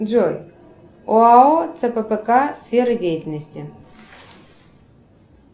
джой оао цппк сфера деятельности